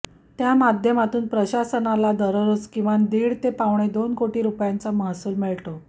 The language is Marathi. त्या माध्यमातून प्रशासनाला दररोज किमान दीड ते पावणेदोन कोटी रुपयांचा महसूल मिळतो